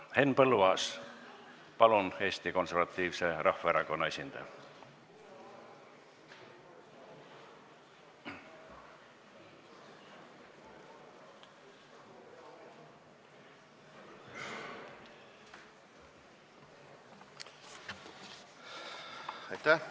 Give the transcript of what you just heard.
Henn Põlluaas, Eesti Konservatiivse Rahvaerakonna esindaja, palun!